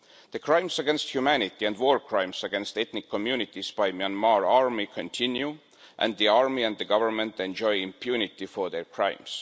The crimes against humanity and war crimes against ethnic communities by the Myanmar army continue, and the army and the Government enjoy impunity for their crimes.